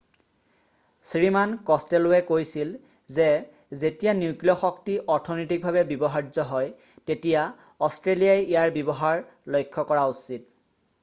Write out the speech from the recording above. শ্ৰীমান কষ্টেলৱে কৈছিল যে যেতিয়া নিউক্লিয় শক্তি অৰ্থনৈতিভাৱে ব্যৱহাৰ্য হয় তেতিয়া অষ্ট্ৰেলিয়াই ইয়াৰ ব্যৱহাৰ লক্ষ্য কৰা উচিত